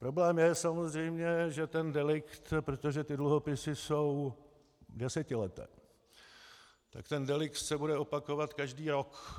Problém je samozřejmě, že ten delikt, protože ty dluhopisy jsou desetileté, tak ten delikt se bude opakovat každý rok.